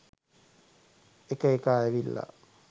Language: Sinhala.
එක එකා ඇවිල්ල